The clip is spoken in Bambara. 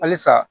Halisa